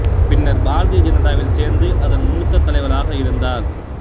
பின்னர் பாரதிய ஜனதாவில் சேர்ந்து அதன் மூத்த தலைவராக இருந்தார்